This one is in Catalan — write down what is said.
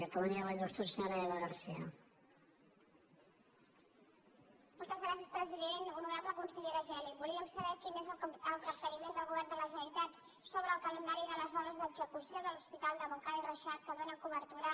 honorable consellera geli volíem saber quin és el capteniment del govern de la generalitat sobre el calendari de les obres d’execució de l’hospital de montcada i reixac que dóna cobertura